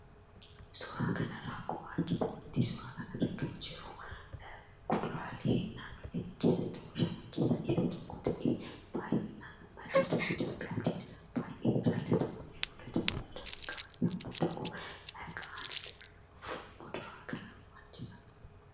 Suuraa kanarraa akkuma argitanitti suuraa kanarra kan jiru kuduraalee naannoo keenya keessatti oomishaman keessaa isa tokko ta'ee, baay'inaan ummattoota Itoophiyaatiin baay'ee jaallatamaa fi fudhatama guddaa kan qabu yommuu ta'u, maqaan muduraa kanaa maal jedhama?